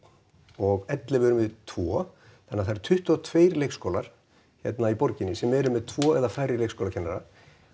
og ellefu eru með tvo þannig að það eru tuttugu og tveir leikskólar hér í borginni sem eru með tvo eða færri leikskólakennara